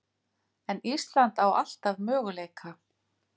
En Ísland á alltaf möguleika